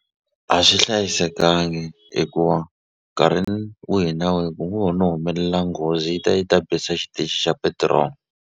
A swi hlayisekangi hikuva nkarhini wihi na wihi ku ngo ho no humelela nghozi yi ta yi ta bisa xitichi xa .